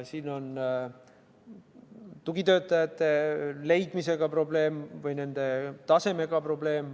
Siin on probleeme tugitöötajate leidmisega või nende tasemega.